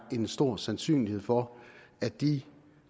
en stor sandsynlighed for at de